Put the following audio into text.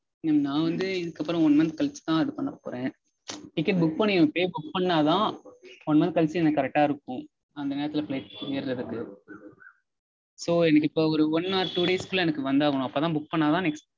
Mam நா வந்து இதுக்கப்பறம் one month கழிச்சுதா இது பண்ண போறேன். ticket book பண்ணிருக்கு. book பண்ணாதா one month கழிச்சு எனக்கு correct ஆ இருக்கும். அந்த நேரத்தில flight ஏறதுக்கு. So எனக்கு இப்போ ஒரு one or two days க்குள்ளா எனக்கு வந்தாகனும். அப்போதா book பண்ணாதா